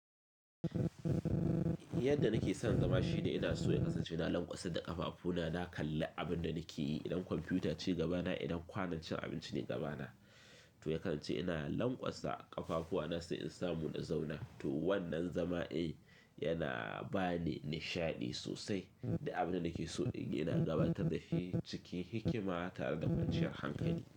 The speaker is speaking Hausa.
Yadda nake son zama shine ina so ya kasance ina lanƙwasa da ƙafafu na, na kalli abin da nake yi, idan kwamfuta ce gaba na, idan kwanancin abinci ne gaba na. To ya kasance ina lanƙwasa ƙafafu wa na sai in samu na zauna. To wannan zama'n yana ba ni nishaɗi sosai du abin da nake so ina gabatar dashi cikin hikima tare da kwanciyar hankali.